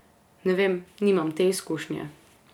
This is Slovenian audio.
Ne vem, nimam te izkušnje.